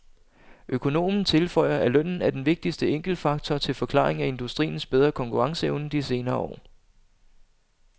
Økonomen tilføjer, at lønnen er den vigtigste enkeltfaktor til forklaring af industriens bedre konkurrenceevne de senere år.